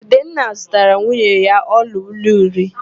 Udenna zụtaara nwunye ya ọlaolu iri